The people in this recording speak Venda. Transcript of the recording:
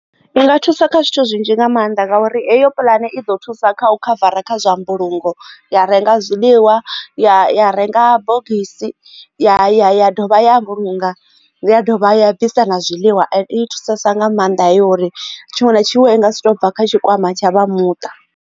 I nga thusa kha zwithu zwinzhi nga maanḓa nga uri eyo pulane i ḓo thusa kha u khavara kha zwa mbulungo ya renga zwiḽiwa ya renga bogisi ya dovha ya vhulunga ya dovha ya bvisa na zwiḽiwa and i thusesa nga maanḓa uri tshiṅwe na tshiṅwe i nga si to bva kha tshikwama tsha vha muṱa.